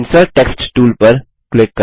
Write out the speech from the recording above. insert text tool पर click करें